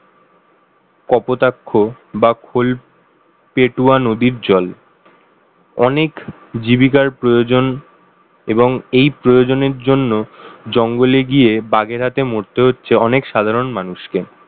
কপোতাক্ষ বা খোলপেটুয়া নদীর জল অনেক জীবিকার প্রয়োজন এবং এই প্রয়োজনের জন্য জঙ্গলে গিয়ে বাগেরহাটে মরতে হচ্ছে অনেক সাধারণ মানুষকে